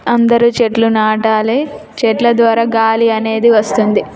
అందరు చెట్లు నాటాలి చెట్లు ద్వార గాలి అనేది వస్తుంది.